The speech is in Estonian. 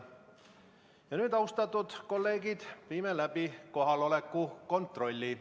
Ja nüüd, austatud kolleegid, viime läbi kohaloleku kontrolli.